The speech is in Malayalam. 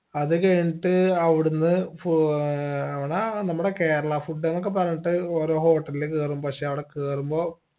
അതു കഴിഞ്ഞിട്ട് അവിടുന്ന് പോ ഏർ അവുട നമ്മുടെ കേരള food ന്നൊക്കെ പറഞ്ഞിട്ട് ഓരോ hotel ൽ കേറുമ്പോ പക്ഷെ അവിടെ കേറുമ്പോ